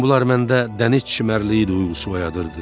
Bütün bunlar məndə dəniz çimərliyi duyğusu oyadırdı.